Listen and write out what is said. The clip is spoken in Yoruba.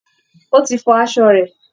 Ó ti fọ aṣọ rẹ̀